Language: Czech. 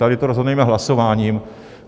Tady to rozhodneme hlasováním.